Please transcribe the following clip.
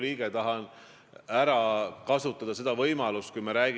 Ma ei ole taganenud oma väärtustest ja nendest ma ka ei tagane.